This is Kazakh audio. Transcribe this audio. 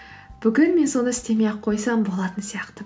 бүгін мен соны істемей ақ қойсам болатын сияқты